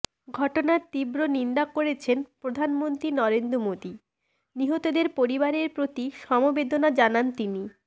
ঘটনায় তীব্র নিন্দা করেছেন প্রধানমন্ত্রী নরেন্দ্র মোদী নিহতদের পরিবারের প্রতি সমবেদনা জানান তিনি